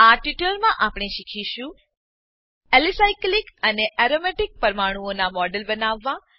આ ટ્યુટોરીયલમાં આપણે શીખીશું એલિસાયક્લિક એલીસાયક્લિક અને એરોમેટિક એરોમેટીક પરમાણુઓનાં મોડેલો બનાવવા